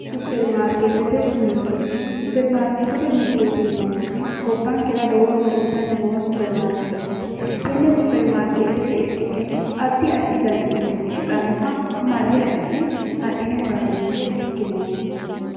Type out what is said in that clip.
Supperimarkeetete mirte, supperimarkeetete mirte yineemmoti gabbankera lowo horo uyitanni noo supperimarkeeteeti. Tenne supperimarkeetete irki'ne addi addi dani uduunni shiqannoha marre hidhine adhine horasmeeyye ikkinoommo.